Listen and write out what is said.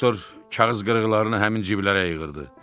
Doktor kağız qırıqlarını həmin cibləyə yığırdı.